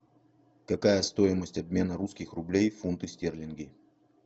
какая стоимость обмена русских рублей в фунты стерлинги